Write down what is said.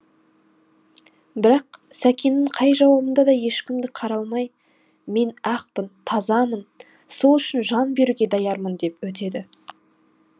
бірақ сәкеннің қай жауабында да ешкімді қараламай мен ақпын тазамын сол үшін жан беруге даярмын деп өтеді